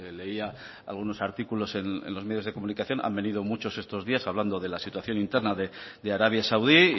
leía algunos artículos en los medios de comunicación han venido muchos estos días hablando de la situación interna de arabia saudí y